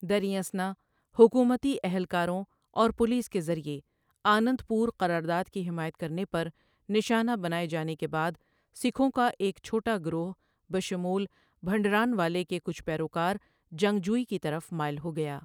دریں اثنا، حکومتی اہلکاروں اور پولیس کے ذریعہ آنند پور قرارداد کی حمایت کرنے پر نشانہ بنائے جانے کے بعد سکھوں کا ایک چھوٹا گِروہ بشمول بھنڈرانوالے کے کچھ پیروکار جنگ جوئی کی طرف مائل ہوگئا۔